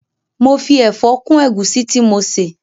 Mo fi ẹ̀fọ́ kún ẹ̀gúsí tí mo ṣè